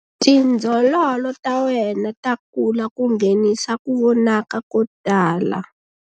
Tindzololo ta wena ta kula ku nghenisa ku vonakala ko tala.